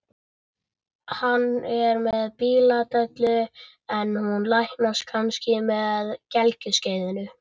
Hann er með bíladellu en hún læknast kannski með gelgjuskeiðinu.